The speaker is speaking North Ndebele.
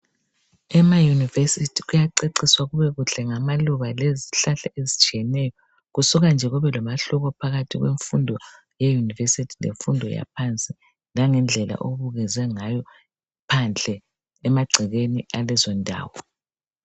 Emayunivesithi kuyaceciswa kube kuhle ngamaluba lezihlahla ezitshiyeneyo kusuka nje kubelomahluka phakathi kwemfundo yeyunivesithi lemfundo yaphansi langendlela okubukezwe phandle emangcekeni alezo ndawo